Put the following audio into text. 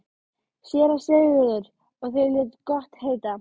SÉRA SIGURÐUR: Og þeir létu gott heita?